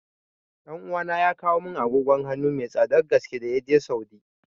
Ɗan uwana ya kawo mun agogon hanu mai tsadar gaske da yaje Saudi